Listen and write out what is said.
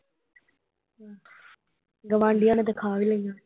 ਗੁਆਂਢੀਆਂ ਨੇ ਤਾ ਖਾ ਵੀ ਲਈਆਂ।